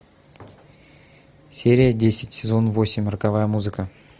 серия десять сезон восемь роковая музыка